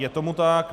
Je tomu tak.